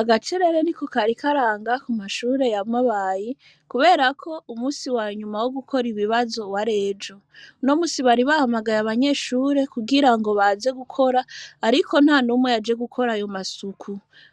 Agacerere niko karanga ku mashure ya Mabayi, kubera ko umusi wanyuma wo gukora ibibazo wari ejo, uno musi bari bahamagaye abanyeshure kugirango baze gukora, ariko ntanumwe yaje gukora ayo masuku,